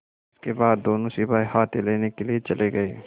इसके बाद दोनों सिपाही हाथी लेने के लिए चले गए